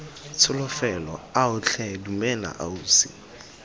tsholofelo ao tlhe dumela ausi